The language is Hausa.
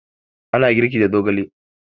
Ana girki da zogale